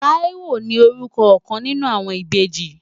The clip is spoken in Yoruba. Táíwò ni orúkọ ọ̀kan nínú àwọn ìbejì.